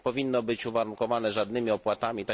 To nie powinno być uwarunkowane żadnymi opłatami.